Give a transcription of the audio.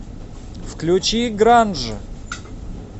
включи гранж